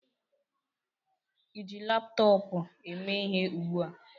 ịji laptọọpụ eme ihe ugbu a?